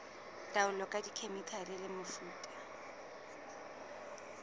taolo ka dikhemikhale le mefuta